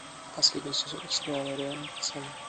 последний сезон сериала реальные пацаны